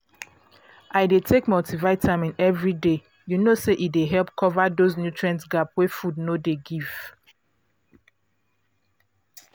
i dey take multivitamin every day you know say e dey help cover those nutrient gap wey food no dey give